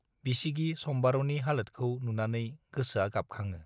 बिसिगि सम्बारुनि हालोतखौ नुनानै गोसोआ गाबखाङो।